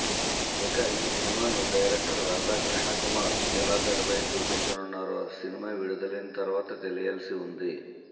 ఇక ఈ సినిమాను డైరెక్టర్ రాధాకృష్ణ కుమార్ ఎలా తెరపై చూపించనున్నారో సినిమా విడుదలైన తరువాత తెలియాల్సి ఉంది